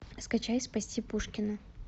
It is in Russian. скачай спасти пушкина